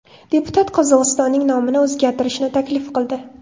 Deputat Qozog‘istonning nomini o‘zgartirishni taklif qildi.